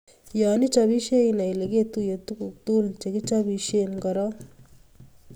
Yo ichopisiei inai Ile ketuiye tuguk tugul che kichobisie korok